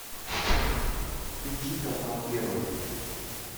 включи канал первый